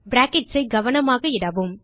brackets ஐ கவனமாக இடவும்